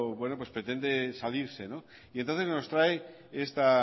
bueno pues pretende salirse y entonces nos trae esta